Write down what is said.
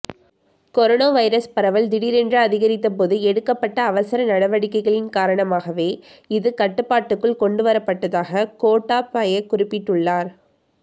corona virus பரவல் திடீரென்று அதிகரித்தபோது எடுக்கப்பட்ட அவசர நடவடிக்கைகளின் காரணமாகவே இது கட்டுப்பாட்டுக்குள் கொண்டு வரப்பட்டதாக கோட்டாபய குறிப்பிட்டுள்ளார்